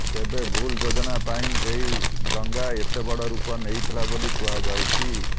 ତେବେ ଭୁଲ ଯୋଜନା ପାଇଁ ଏହି ଦଙ୍ଗା ଏତେ ବଡ଼ ରୂପ ନେଇଥିଲା ବୋଲି କୁହାଯାଉଛି